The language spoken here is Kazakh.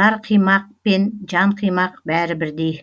жар қимақ пен жан қимақ бәрі бірдей